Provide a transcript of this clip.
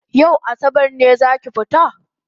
Yau asabar ne zaki fita?